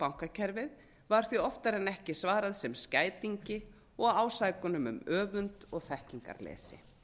bankakerfið var því oftar en ekki svarað sem skætingi og með ásökunum um öfund og þekkingarleysi